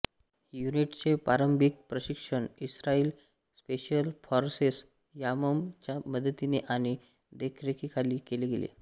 युनिटचे प्रारंभिक प्रशिक्षण इस्त्रायली स्पेशल फोर्सेस यामम च्या मदतीने आणि देखरेखीखाली केले गेले